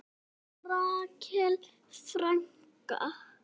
En Rakel frænka?